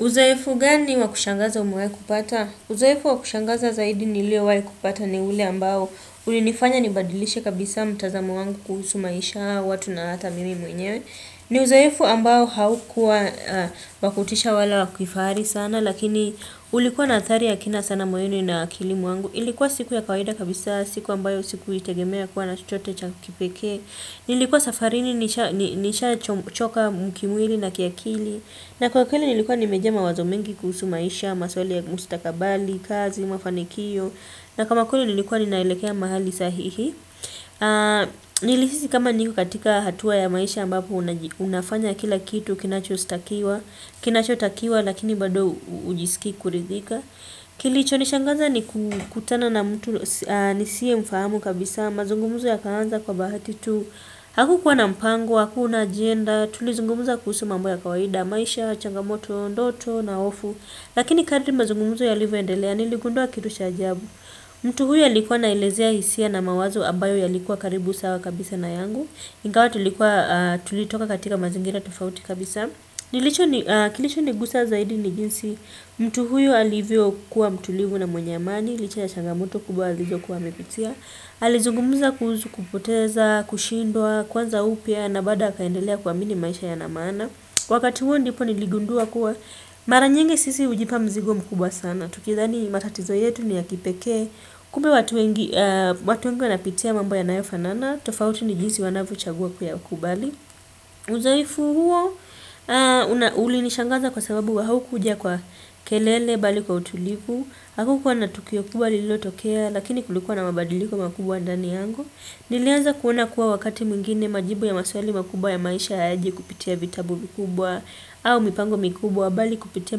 Uzoefu gani wakushangaza umewai kupata? Uzoefu wakushangaza zaidi nilio wali kupata ni ule ambao ulinifanya nibadilishe kabisa mtazamu wangu kuhusu maisha watu na ata mimi mwenyewe. Ni uzorfu ambao haukua wakutisha wala wakifari sana. Lakini ulikuwa na athari ya kina sana moenu na kilimuangu. Ilikuwa siku ya kawahida kabisa siku ambayo siku itegemea kuwa na chochote cha kipeke. Nilikuwa safarini nishachoka mkimwili na kiakili. Na kwa kweli nilikuwa nimejaa mawazo mengi kusu maisha. Maswali ya mustakabali, kazi, mafanikio na kama kweli nilkuwa ni naelekea mahali sahihi. Nilihisi kama niku katika hatua ya maisha ambapo unafanya kila kitu kinachositakiwa kinachotakiwa lakini bado ujisiki kuridhika kilichonishangaza ni kukutana na mtu nisiyemfahamu kabisa mazungumzo yakaanza kwa bahati tu hakukuwa na mpango hatuna ajenda tulizungumza kuhusu mambo ya kawaida maisha ndoto changamoto na hofu lakini kadri mazungumzo yalivyoendelea niligundua kitu cha ajabu. Mtu huyu alikuwa na ilezea hisia na mawazo abayo ya likuwa karibu sawa kabisa na yangu. Ingawa tulitoka katika mazingira tofauti kabisa kilicho nigusa zaidi ni jinsi mtu huyu alivyo kuwa mtulivu na mwenyamani. Licha ya changamuto kubwa alizo kuwa amipitia alizugumuza kuhusu kupoteza, kushindwa, kwanza upya na bada hakaendelea kuwa mini maisha ya namana. Kwa kati huo ndipo niligundua kuwa maranyengi sisi ujipa mzigo mkubwa sana tukidhani matatizo yetu ni ya kipeke. Kumbe watu wengi wanapitia mambo yanayofanana. Tofauti ni jinsi wanavyo chagua kuyakubali. Uzoefu huo, ulinishangaza kwa sababu wa haukuja kwa kelele bali kwa utulivu. Hakukuwa na tukio kubali lilo tokea, lakini kulikuwa na mabadiliko makubwa ndani yangu. Nilianza kuona kuwa wakati mwingine majibu ya masweli makubwa ya maisha hayaji kupitia vitabu vikubwa. Au mipango mikubwa bali kupitia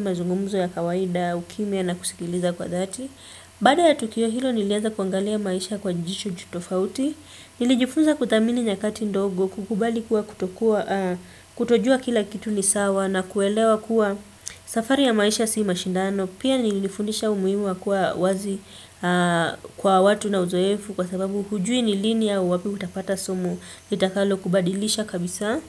mazungumuzo ya kawaida, ukimya na kusikiliza kwa dhati. Baada ya tukio hilo niliaza kuangalia maisha kwa jicho tofauti. Nilijifunza kuthamini nyakati ndogo kukubali kuwa kutojua kila kitu ni sawa na kuelewa kuwa safari ya maisha si mashindano. Pia nilifundisha umuimu wa kuwa wazi kwa watu na uzoefu kwa sababu hujui ni lini au wapi utapata somo litakalo kubadilisha kabisa.